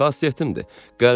Xasiyyətim çətindir.